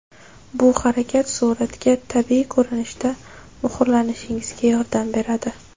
Bu harakat suratga tabiiy ko‘rinishda muhrlanishingizga yordam beradi.